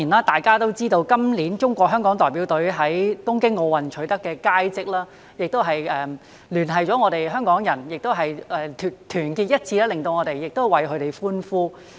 大家也知道，今年中國香港代表隊在東京奧林匹克運動會取得佳績，聯繫了香港人，亦令我們團結一致為他們歡呼。